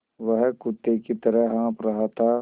वह कुत्ते की तरह हाँफ़ रहा था